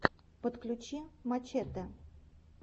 подключи мачете